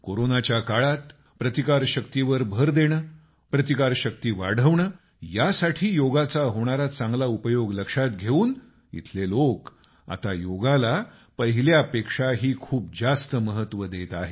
कोरोनाच्या काळात प्रतिकारशक्ती वर भर देणं प्रतिकारशक्ती वाढवणं यासाठी योगाचा होणारा चांगला उपयोग लक्षात घेऊन इथले लोक आता योगाला पहिल्या पेक्षाही खूप जास्त महत्त्व देत आहेत